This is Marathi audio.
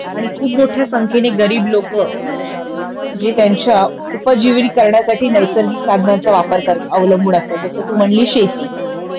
आणि खूप मोठ्या संख्येने गरीब लोकं जे त्यांच्या उपजिवन करण्यासाठी नैसर्गिक साधनांचा वापर करतात अवलंबून असतात जस तू म्हणलीस शेती